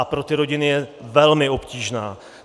A pro ty rodiny je velmi obtížná.